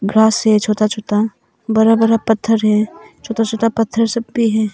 Grass है छोटा छोटा। बड़ा बड़ा पत्थर है। छोटा छोटा पत्थर सब भी है।